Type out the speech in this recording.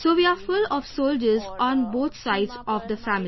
So we are full of soldiers on both sides of the family